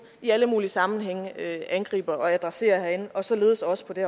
i alle mulige sammenhænge angriber og adresserer herinde og således også på det